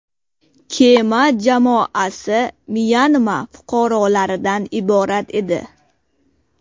Kema jamoasi Myanma fuqarolaridan iborat edi.